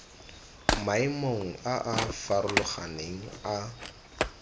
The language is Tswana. maemong a a farologaneng a